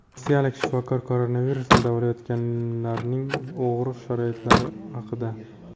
Rossiyalik shifokor koronavirusni davolayotganlarning og‘ir sharoitlari haqida.